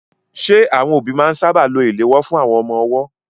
Ṣé àwọn òbí máa ń sáábà lo ìléwọ́ fún àwọn ọmọ ọwọ́?